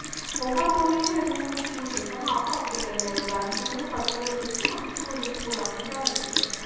ஒவ்வொரு ஊர்லயுமே ரெண்டு, மூணு school இருக்கு ஆனா அப்ப அப்படி கிடையாது. ஒரு அஞ்சு ஊர் பத்து ஊர் இருக்குன்னா அதுக்கு ஒரு school அப்படிதான் இருந்துச்சு